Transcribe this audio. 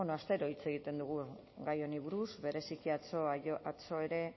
astero hitz egiten dugu gai honi buruz bereziki atzo ere